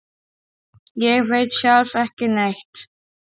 Ég veit sjálf ekki neitt.